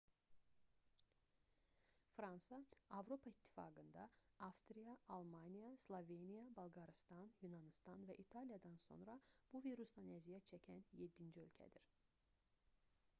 fransa avropa i̇ttifaqında avstriya almaniya sloveniya bolqarıstan yunanıstan və i̇taliyadan sonra bu virusdan əziyyət çəkən yeddinci ölkədir